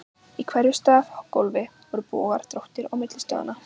Í hverju stafgólfi voru bogar, dróttir, á milli stoðanna.